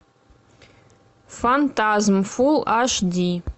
фантазм фул аш ди